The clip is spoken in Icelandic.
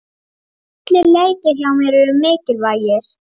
Allir leikir hjá mér eru mikilvægir.